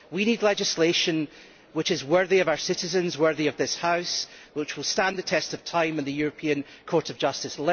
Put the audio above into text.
We need legislation which is worthy of our citizens and worthy of this House, and which will stand the tests of time and the European Court of Justice.